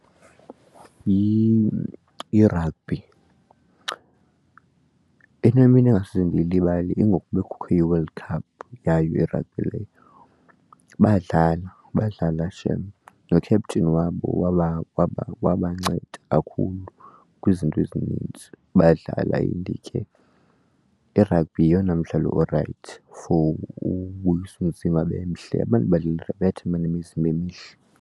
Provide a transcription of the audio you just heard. yi-rugby, inemini ingasose ndiyilibale ingoku kubekho iWorld Cup yayo i-rugby leyo badlala badlala shem no-kheptin wabo wabancenda kakhulu kwizinto ezinintsi badlala. And ke iragbhi yeyona mdlalo orayithi for ubuyisa umzima behle abantu badlala irabhi bayathanda uba nemizimba emihle.